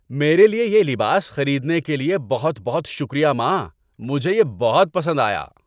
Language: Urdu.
میرے لیے یہ لباس خریدنے کے لیے بہت بہت شکریہ، ماں! مجھے یہ بہت پسند آیا۔